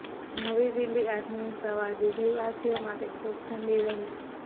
નવી દિલ્હીઃ આજની સવાર દિલ્હીવાસીઓ માટે ખૂબ ઠંડી રહી